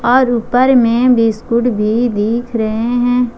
और ऊपर में बिस्किट भी दिख रहे हैं।